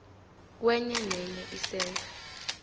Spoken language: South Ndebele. kwenye nenye isentha